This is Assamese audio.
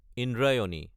ইন্দ্ৰায়ণী